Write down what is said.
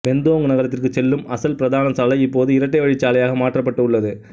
Bentong நகரத்திற்குச் செல்லும் அசல் பிரதான சாலை இப்போது இரட்டை வழிச் சாலையாக மாற்றப்பட்டு உள்ளது